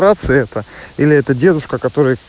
это или эта девушка к